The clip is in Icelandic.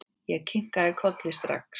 Ég kinkaði strax kolli.